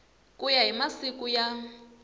ku ya hi masiku ya